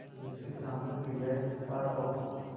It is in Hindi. जिसकी सामूहिक क्रियाएँ विस्तार और